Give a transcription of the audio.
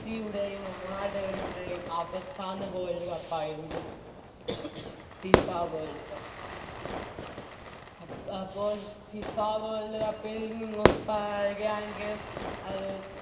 സ്സിയുടെയും റൊണാൾഡോയുടെയും അവസാന World cup ആയിരുന്നു FIFA World cup അപ്പോൾ FIFA World cup ൽ നിന്നും പറയുകയാണെങ്കിൽ